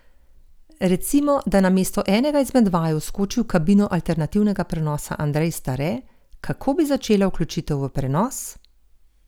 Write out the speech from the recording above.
Recimo, da namesto enega izmed vaju vskoči v kabino alternativnega prenosa Andrej Stare, kako bi začela vključitev v prenos?